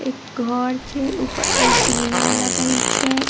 एक घर छै ऊपर एंटीना लगल छै।